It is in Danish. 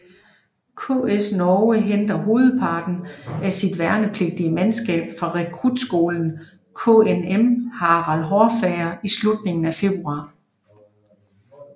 KS Norge henter hovedparten af sit værnepligtige mandskab fra rekrutskolen KNM Harald Hårfagre i slutningen af februar